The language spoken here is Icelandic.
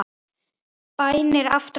Bænir aftra mér ekki.